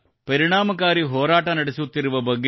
ಪರಿಣಾಮಕಾರಿ ಹೋರಾಟ ನಡೆಸುತ್ತಿರುವ ಬಗ್ಗೆ